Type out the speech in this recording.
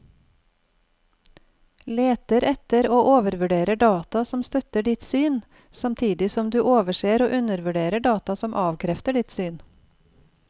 Leter etter og overvurderer data som støtter ditt syn, samtidig som du overser og undervurderer data som avkrefter ditt syn.